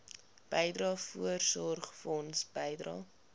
bydrae voorsorgfonds bydrae